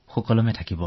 ঠিক আছে ডাক্টৰ